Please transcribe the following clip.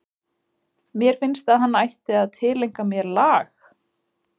Mér finnst að hann ætti að tileinka mér lag??